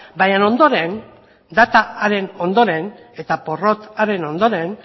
baina ondoren data haren ondoren eta porrot horren ondoren